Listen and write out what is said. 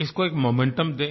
इसको एक मोमेंटम दें